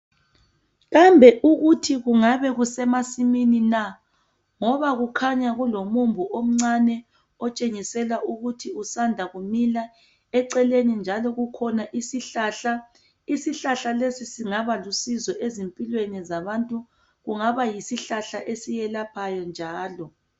kambe ukuthi kungabe kusemasimini na ngoba kukhanya kulomumbu omncane otshengisela ukuthi usanda kumila eceleni njalo kukhona isihlahla isihlahla lesi singaba lusizo ezimpilweni zabantu kungaba yisihlahla esiyelaphayo njalo